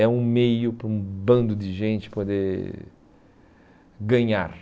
É um meio para um bando de gente poder ganhar.